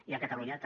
i a catalunya també